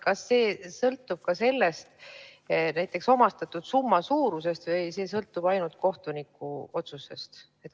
Kas see sõltub ka näiteks omastatud summa suurusest või see sõltub ainult kohtuniku otsusest?